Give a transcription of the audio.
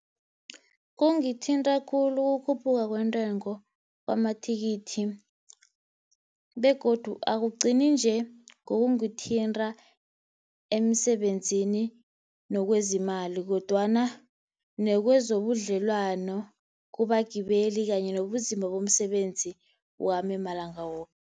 Kungithinta khulu ukukhuphuka kwentengo kwamathikithi, begodu akugcini nje ngoba kungithinta emsebenzini, nokwezi imali kodwana nekwezobudlelwano kubagibeli kanye nobunzima bomsebenzi wami malanga woke.